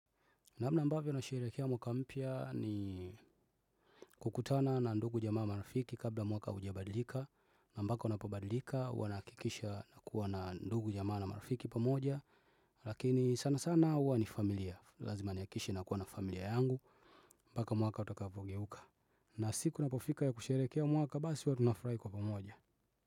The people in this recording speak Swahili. Namna mbavyo nasherekea mwaka mpya ni kukutana na ndugu jamaa marafiki kabla mwaka ujabadilika Nambako napobadilika wanakikisha na kuwa na ndugu jamaa marafiki pamoja Lakini sana sana huwa ni familia lazima niakishe nakuwa na familia yangu mpaka mwaka utakapogeuka na siku inapofika ya kusherehekea mwaka basi huwa tunafurahi kwa pamoja.